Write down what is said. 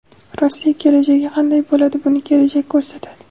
Rossiya kelajagi qanday bo‘ladi, buni kelajak ko‘rsatadi.